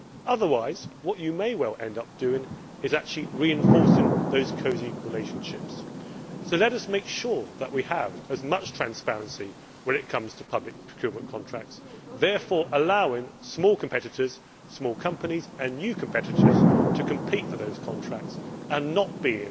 Otherwise, what you may well end up doing is actually reinforcing those cosy relationships. So let us make sure that we have as much transparency as possible when it comes to public procurement contracts, thereby allowing small competitors, small companies and new competitors to compete for those contracts and not be